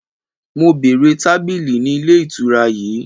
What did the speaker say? Mo bèèrè tabili ni ile itura yii!